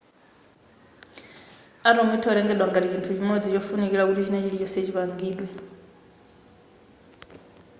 atom itha kutengedwa ngati chinthu chimodzi chofunikira kuti china chilichonse chipangidwe